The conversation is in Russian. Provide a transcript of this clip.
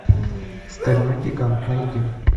стальной гигант найди